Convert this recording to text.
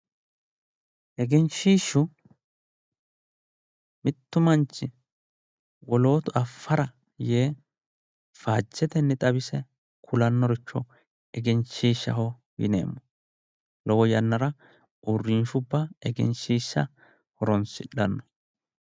Egenshiishshu mittu manchi wolootu affara yee faajjetenni xawise kulannoricho egenshiishshaho yineemmo, lowo yannara uurrinshubba egenshiishsha horonsi'dhanno.